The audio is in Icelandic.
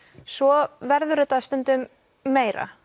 svo verður þetta stundum meira